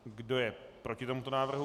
Kdo je proti tomuto návrhu?